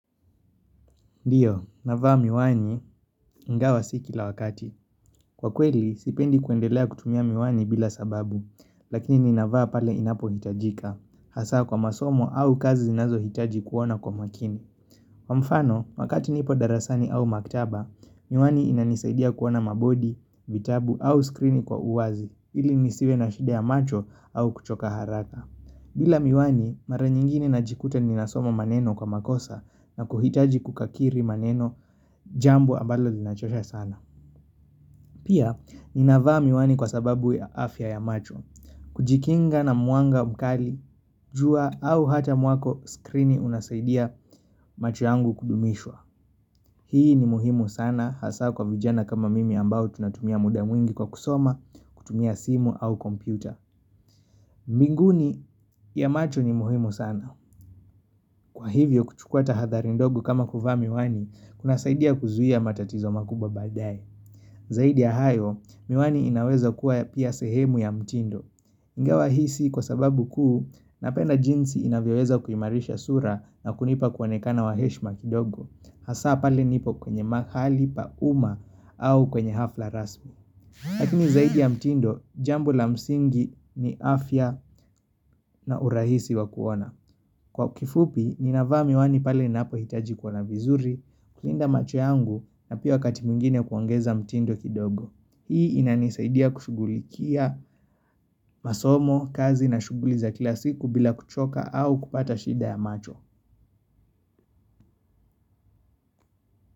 Ndio, navaa miwani ingawa si kila wakati. Kwa kweli, sipendi kuendelea kutumia miwani bila sababu, lakini ninavaa pale inapohitajika. Hasa kwa masomo au kazi zinazohitaji kuona kwa makini. Kwa mfano, wakati nipo darasani au maktaba, miwani inanisaidia kuona mabodi, vitabu au skrini kwa uwazi ili nisiwe na shida ya macho au kuchoka haraka. Bila miwani, mara nyingine najikuta ninasoma maneno kwa makosa na kuhitaji kukakiri maneno jambo ambalo linachosha sana. Pia, ninavaa miwani kwa sababu ya afya ya macho. Kujikinga na mwanga mkali, jua au hata mwako screeni unasaidia macho yangu kudumishwa. Hii ni muhimu sana hasa kwa vijana kama mimi ambao tunatumia muda mwingi kwa kusoma, kutumia simu au kompyuta. Mbinguni ya macho ni muhimu sana Kwa hivyo kuchukua tahadhari ndogo kama kuvaa miwani kunasaidia kuzuia matatizo makubwa baadaye Zaidi ya hayo, miwani inaweza kuwa pia sehemu ya mtindo Ingawa hii si kwa sababu kuu Napenda jinsi inavyoweza kuimarisha sura na kunipa kuonekana wa heshima kidogo Hasa pale nipo kwenye mahali pa uma au kwenye hafla rasmi Lakini zaidi ya mtindo, jambo la msingi ni afya na urahisi wa kuona Kwa kifupi, ninavaa miwani pale ninapohitaji kuona vizuri kulinda macho yangu na pia wakati mwingine kuongeza mtindo kidogo Hii inanisaidia kushughulikia masomo, kazi na shughuli za kila siku bila kuchoka au kupata shida ya macho.